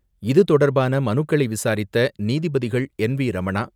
இதுதொடர்பான மனுக்களை விசாரித்த நீதிபதிகள் என்.வி.ரமணா,